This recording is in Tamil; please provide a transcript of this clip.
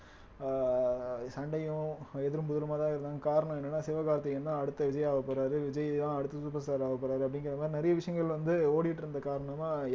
அஹ் சண்டையும் எதிரும் புதிருமாதான் இருக்காங்க காரணம் என்னன்னா சிவகார்த்திகேயன்தான் அடுத்த விஜய் ஆகப்போறாரு விஜய்தான் அடுத்த superstar ஆகப்போறாரு அப்படிங்கிற மாதிரி நிறைய விஷயங்கள் வந்து ஓடிட்டு இருந்த காரணமா